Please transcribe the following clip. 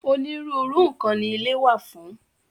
Onírúurú nǹkan ni ilé wà fún.